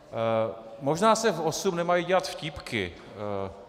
Možná se v osm nemají dělat vtípky.